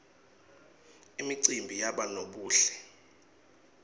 imicimbi yabonobuhle